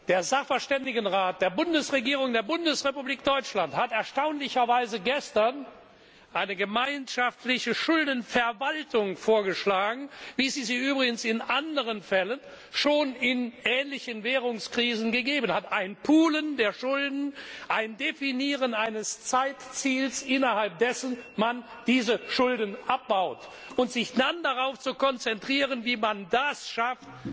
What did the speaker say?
Der Sachverständigenrat der Bundesregierung der Bundesrepublik Deutschland hat erstaunlicherweise gestern eine gemeinschaftliche Schuldenverwaltung vorgeschlagen, wie es sie übrigens in anderen Fällen schon in ähnlichen Währungskrisen gegeben hat ein Poolen der Schulden, ein Definieren eines Zeitziels, innerhalb dessen man diese Schulden abbaut, um sich dann darauf zu konzentrieren, wie man das schafft,